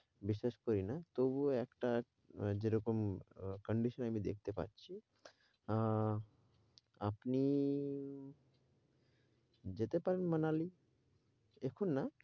বিশ্বাস করিনা, তবুও একটা যেরকম condition আমি দেখতে পাচ্ছি আহ আপনি যেতে পারেন মানালি এখন না